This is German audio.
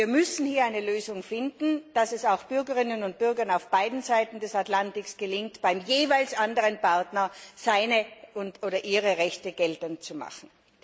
Wir müssen hier eine Lösung finden, dass es auch Bürgerinnen und Bürgern auf beiden Seiten des Atlantiks gelingt, beim jeweils anderen Partner ihre Rechte geltend zu machen.